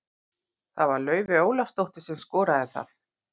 Það var Laufey Ólafsdóttir sem að skoraði það.